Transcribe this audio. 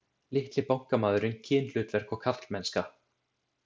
Litli bankamaðurinn, kynhlutverk og karlmennska